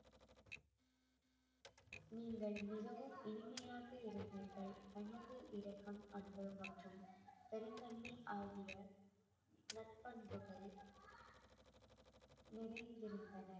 நீங்கள் மிகவும் இனிமையாக இருந்தீர்கள் பணிவு, இரக்கம், அன்பு மற்றும் பெருந்தன்மை ஆகிய நற்பண்புகள் நிறைந்திருந்தன